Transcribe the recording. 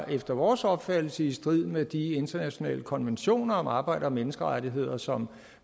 efter vores opfattelse var i strid med de internationale konventioner om arbejde og menneskerettigheder som